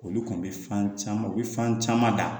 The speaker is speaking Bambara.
Olu kɔni bɛ fan caman u bɛ fan caman da